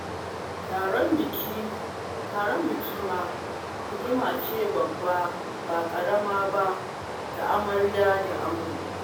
Taron biki ma ni'ima ce babba ba ƙarama ba ga Amarya da Ango